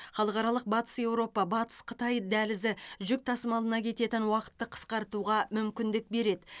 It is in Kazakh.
халықаралық батыс еуропа батыс қытай дәлізі жүк тасымалына кететін уақытты қысқартуға мүмкіндік береді